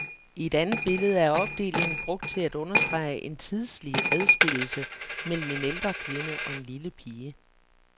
I et andet billede er opdelingen brugt til at understrege en tidslig adskillelse mellem en ældre kvinde og en lille pige.